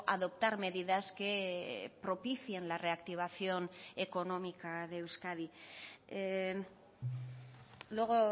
adoptar medidas que propicien la reactivación económica de euskadi luego